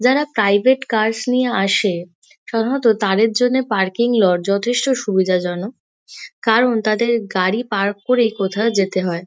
যারা private cars নিয়ে আসে সাধারণত তাদের জন্যে পার্কিং লট যথেষ্ট সুবিধাজনক কারণ তাদের গাড়ি পার্ক করে কোথাও যেতে হয়।